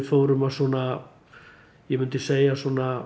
fórum að svona ég myndi segja